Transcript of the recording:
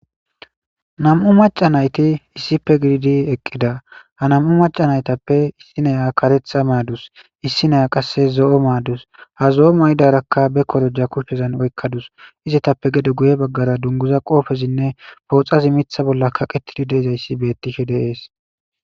Nam'u maca nayti issipe gididi eqqida. Ha nam'u maca nayitappe issineya kareta maadasu. Issi naya qasse zo'o maadus. Ha zo'o maydarakka ba koroja kushezan oykkadus. Izetappe gede guye baggara dunguza qoobezinne pooxazi mitha bolla kaqetidi diza issi bettishe dees.